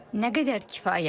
Nə qədər kifayətdir.